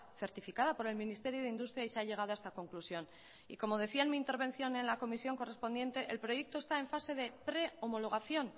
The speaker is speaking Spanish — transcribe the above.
certificada por el ministerio de industria y se ha llegado a esta conclusión como decía en mi intervención en la comisión correspondiente el proyecto está en fase de pre homologación